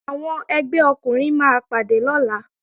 Àwọn ẹgbẹ́ ọkùnrin máa pàdé lọ́la